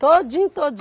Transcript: Todinho,